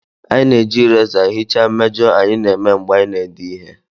Anyị na-eji erasers hichaa mmejọ anyị na-eme mgbe anyị na-ede ihe